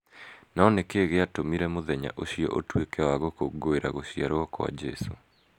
No nĩ kĩĩ gĩatũmire mũthenya ũcio ũtuĩke wa gũkũngũĩra gũciarũo kwa Jesu?